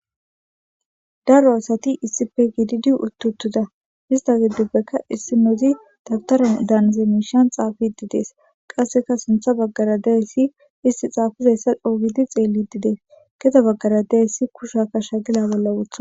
Daro asati issipe gididi utiutida hesta gidopeka issinozi dawutara daniza mishan xafidides qaseka sinte bagara diyayisi iste xafidaysa c'o gidi xelidides gede bagara diyayisi kushiya shakala bola wotides.